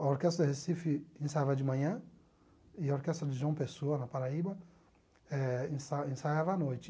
A orquestra de Recife ensaiava de manhã e a orquestra de João Pessoa, na Paraíba, eh ensa ensaiava à noite.